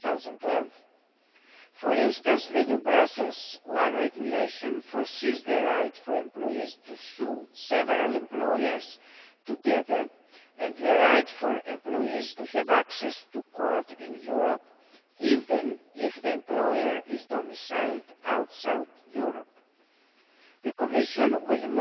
2012. For instance, the new Brussels I Regulation provides for the right for employees to sue several employers together and the right for employees to have access to courts in Europe, even if the employer is domiciled outside Europe. The Commission will